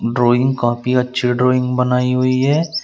Drawing copy अच्छी drawing बनाई हुई है।